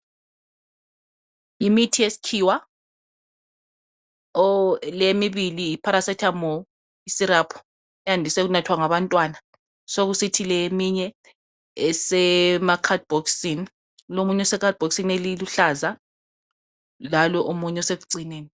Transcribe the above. Imithi yesikhiwa le emibili yiparacetamol syrup eyadiswe ukunathwa ngabantwana sokusithi le eminye esemakhadibhokisini lo omunye usekhadibhokisini eliluhlaza lalo omunye osekucineni.